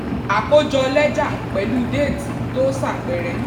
àkójọ lẹ́jà pẹ̀lú déètì tó ṣàpẹẹrẹ.